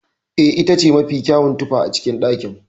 Eh, itace mafi kyawun tufa a cikin ɗakin.